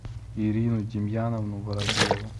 ирину демьяновну воробьеву